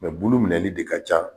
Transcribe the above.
bulu minɛli de ka ca